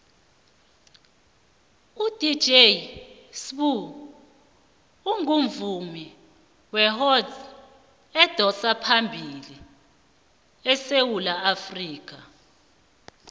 udj sbu ungumvumi wehouse odosaphambili esewula afrikha